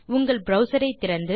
உங்கள் ப்ரவ்சர் ஐ திறந்து